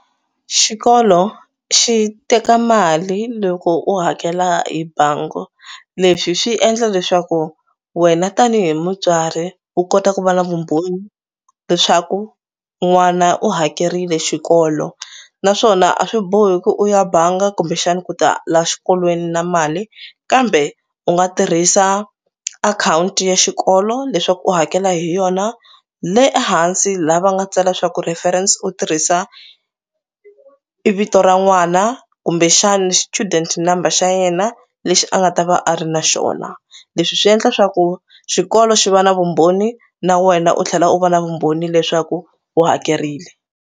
Xikolo xi teka mali loko u hakela hi bangi leswi swi endla leswaku wena tanihi mutswari u kota ku va na vumbhoni leswaku n'wana u hakerile xikolo. Naswona a swi bohi ku u ya banga kumbexani ku ta la xikolweni na mali kambe u nga tirhisa account ya xikolo leswaku u hakela hi yona le ehansi laha va nga tsala swa ku reference u tirhisa i vito ra n'wana kumbexana student number xa yena lexi a nga ta va a ri na xona. Leswi swi endla swa ku xikolo xi va na vumbhoni na wena u tlhela u va na vumbhoni leswaku u hakerile.